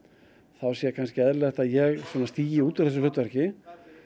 þá sé kannski eðlilegt að ég stígi út úr þessu hlutverki